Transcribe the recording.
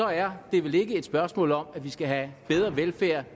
er det vel ikke et spørgsmål om at vi skal have bedre velfærd